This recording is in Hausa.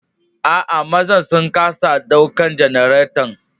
Aa, mazan sun kasa ɗaukan janaretan.